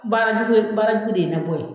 Baara jugu ye baara jugu de ye labɔ yen